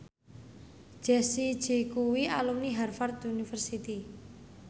Jessie J kuwi alumni Harvard university